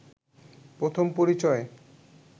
প্রথম পরিচয়ে